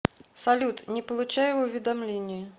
салют не получаю уведомления